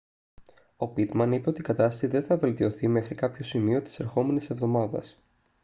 ο πίτμαν είπε ότι η κατάσταση δεν θα βελτιωθεί μέχρι κάποιο σημείο της ερχόμενης εβδομάδας